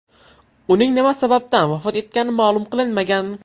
Uning nima sababdan vafot etgani ma’lum qilinmagan.